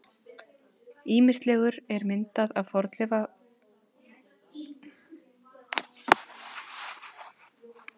Ýmislegur er myndað af fornafninu með viðskeytinu-